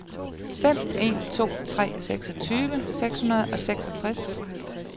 fem en to tre seksogtyve seks hundrede og seksogtres